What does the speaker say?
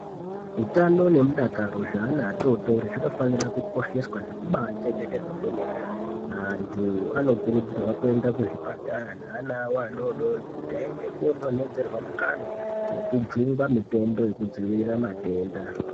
Utano nemudakaro zveana atotori zvinofane kukosheswa nekuba achengetedzwa kwemene antu anokurudzirwa kuenda kuzvipatara neana awo adodori kuti aende kodonhedzerwe mukanwa nekojungwa mitombo yekudzivirira matenda.